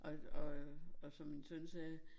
Øh og som min søn sagde